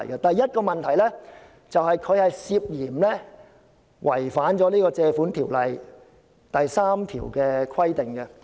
第一，該決議案涉嫌違反《借款條例》第3條的規定。